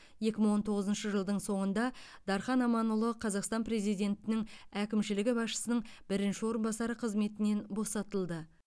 екі мың он тоғызыншы жылдың соңында дархан аманұлы қазақстан президентінің әкімшілігі басшысының бірінші орынбасары қызметінен босатылды